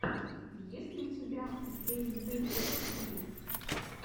есть ли у тебя гейммэйкерс тиви